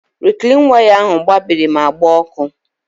Riklin waya ahụ gbabiri ma gbaa ọkụ.